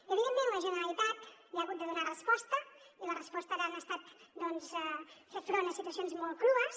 evidentment la generalitat hi ha hagut de donar resposta i la resposta ha estat doncs fer front a situacions molt crues